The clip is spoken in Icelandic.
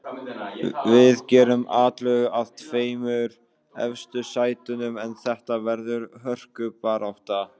Við gerum atlögu að tveimur efstu sætunum en þetta verður hörkubarátta.